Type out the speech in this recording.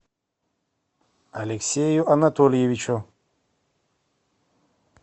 алексею анатольевичу